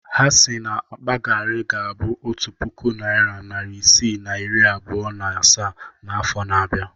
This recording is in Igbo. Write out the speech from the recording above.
Ha si na akpa garri ga-abụ otu puku naịra, narị isii na iri abụọ na asaa n'afọ na-abịa.